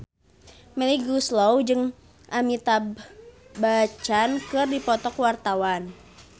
Melly Goeslaw jeung Amitabh Bachchan keur dipoto ku wartawan